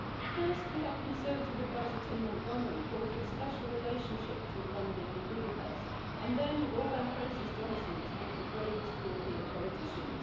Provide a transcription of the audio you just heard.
First we have conservative adviser Tim Montgomery call for a special relationship between London and Budapest, and then Orbán praises Johnson as one of the bravest European politicians.